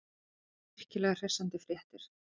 Virkilega hressandi fréttir.